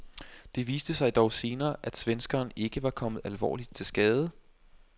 Det viste sig dog senere, at svenskeren ikke var kommet alvorligt til skade.